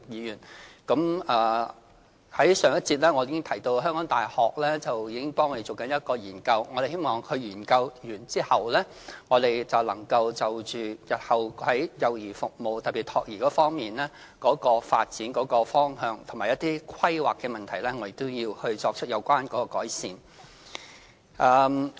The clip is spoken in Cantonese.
在上一個辯論環節中，我曾提到香港大學正協助我們進行一項研究，我們希望研究完成後，能就着日後在幼兒服務，特別是託兒方面的發展方向和規劃的問題，作出改善。